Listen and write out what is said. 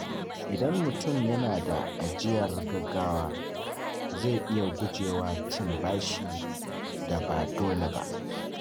Idan mutum yana da ajiyar gaggawa, zai iya guje wa cin bashin da ba dole ba.